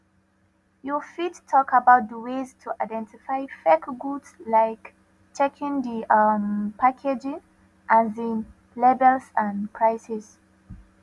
you fit talk about di ways to identify fake goods like checking di um packaging um labels and prices